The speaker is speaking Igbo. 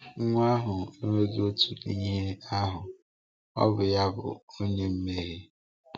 Nwa ahụ enweghi òtù n’ihe ahụ, ọ bụ ya bụ onye mmehie.